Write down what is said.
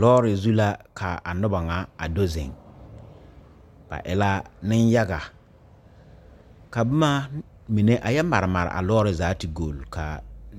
Lɔɔre zu la k,a noba ŋa a do zeŋ ba e la nenyaga ka boma mine a yɛ mare mare a lɔɔre zaa te golli ka